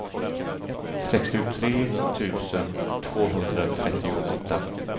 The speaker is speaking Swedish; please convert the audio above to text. sextiotre tusen tvåhundratrettioåtta